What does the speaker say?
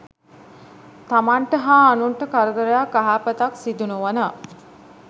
තමන්ට හා අනුන්ට කරදරයක් අයහපතක් සිදු නොවන